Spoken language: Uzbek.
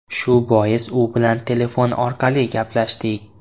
Shu bois u bilan telefon orqali gaplashdik.